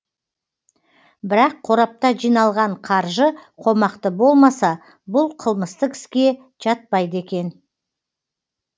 бірақ қорапта жиналған қаржы қомақты болмаса бұл қылмыстық іске жатпайды екен